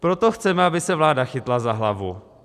Proto chceme, aby se vláda chytla za hlavu.